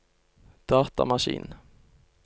datamaskin